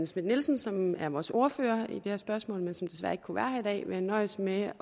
schmidt nielsen som er vores ordfører i det her spørgsmål og som desværre ikke kunne være her i dag vil jeg nøjes med at